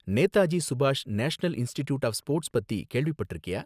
நேதாஜி சுபாஷ் National Institute of Sports பத்தி கேள்விப்பட்டிருக்கியா?